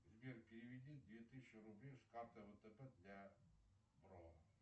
сбер переведи две тысячи рублей с карты втб для бро